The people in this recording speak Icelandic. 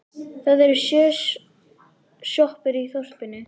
Það eru sjö sjoppur í þorpinu!